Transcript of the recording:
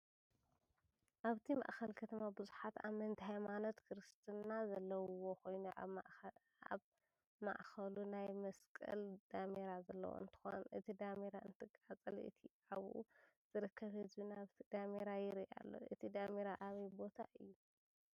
ኣብቲ ማእከል ከተማ ብዙሓት ኣመንቲ ሃይማኖት ክርስትና ዘለዉዎ ኮይኑ ኣብ ማእከሉ ናይ መስቀል ዳሜራ ዘለዎ እንትኸውን እቲ ዳሜራ እንትቃፀል እቲ ኣብኡ ዝርከብ ህዝቢ ናብቲ ዳሜራ ይርኢ ኣሎ፡፡ እቲ ዳሜራ ኣበይ ቦታ እዩ?